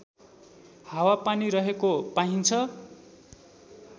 हावापानी रहेको पाइन्छ